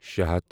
شے ہتھ